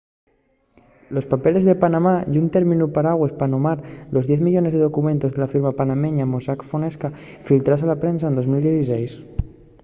los papeles de panamá” ye un términu paragües pa nomar los diez millones de documentos de la firma panameña mossack fonseca filtraos a la prensa en 2016